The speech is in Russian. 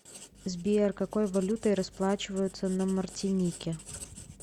сбер какой валютой расплачиваются на мартинике